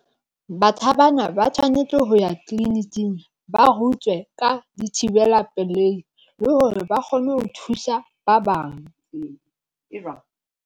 Batjha bana ba tshwanetse ho ya tleliniking ba rutwe ka dithibela pelehi, le hore ba kgone ho thusa ba bang.